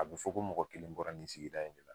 A bɛ fɔ ko mɔgɔ kelen bɔra nin sigida in de la